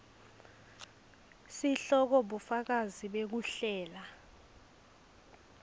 sihloko bufakazi bekuhlela